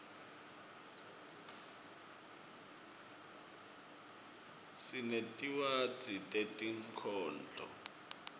sinetinwadzi tetinkhondlo